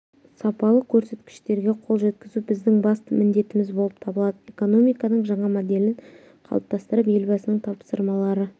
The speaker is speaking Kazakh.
сапалы көрсеткіштерге қол жеткізу біздің басты міндетіміз болып табылады экономиканың жаңа модельін қалыптастырып елбасының тапсырмалары